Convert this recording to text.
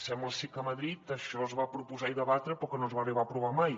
sembla ser que a madrid això es va proposar i debatre però que no es va arribar a aprovar mai